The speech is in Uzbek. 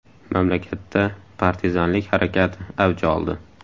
Mamlakatda partizanlik harakati avj oldi.